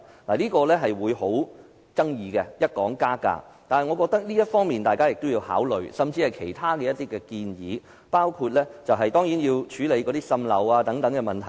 一談到加價，便極富爭議性，但我認為大家有需要考慮這點，甚至是其他建議，包括處理滲漏等問題。